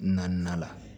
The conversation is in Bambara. Naaninan la